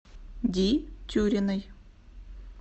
ди тюриной